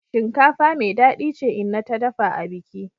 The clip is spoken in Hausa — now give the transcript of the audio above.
Shinkafa mai dadi ce inna ta dafa abiki.